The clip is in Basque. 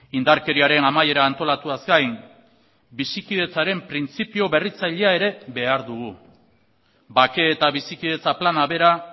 indarkeriaren amaiera antolatuaz gain bizikidetzaren printzipio berritzailea ere behar dugu bake eta bizikidetza plana bera